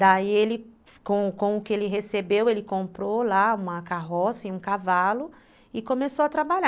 Daí, com o que ele recebeu, ele comprou lá uma carroça e um cavalo e começou a trabalhar.